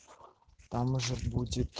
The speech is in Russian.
там может будет